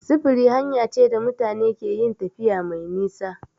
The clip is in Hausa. Sufuri hanya ce da mutane keyin tafiya mai nisa